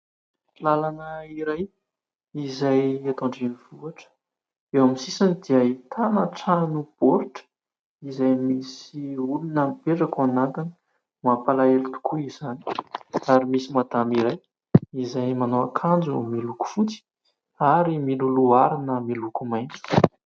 Lalana iray izay eto andrenivohitra. Eo amin'ny sisiny dia ahitana trano baoritra izay misy olona mipetraka ao anatiny ; mampalahelo tokoa izany. Ary misy madama iray izay manao akanjo miloko fotsy ary miloloha harona miloko maitso.